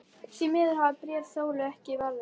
Því miður hafa bréf Sólu ekki varðveist.